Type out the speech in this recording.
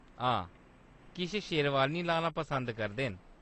हां, किश शेरवानी लाना पसंद करदे न।